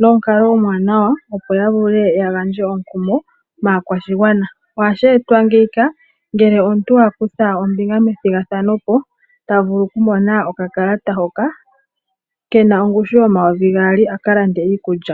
nomukalo omuwanawa opo ya vule ya gandje omukumo maakwashigwana ohashi etwa ngele omuntu a kutha ombinga methigathano opo ta vulu okumona okakalata hoka ke na ongushu yomayovi gaali a ka lande iikulya.